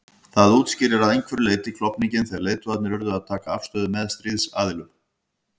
Það útskýrir að einhverju leyti klofninginn þegar leiðtogarnir urðu að taka afstöðu með stríðsaðilum.